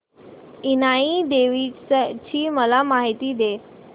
इनाई देवीची मला माहिती दे